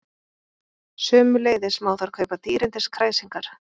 Sömuleiðis má þar kaupa dýrindis kræsingar